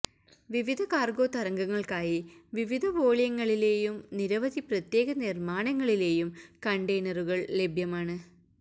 വിവിധ കാർഗോ തരംഗങ്ങൾക്കായി വിവിധ വോള്യങ്ങളിലെയും നിരവധി പ്രത്യേക നിർമാണങ്ങളിലെയും കണ്ടെയ്നറുകൾ ലഭ്യമാണ്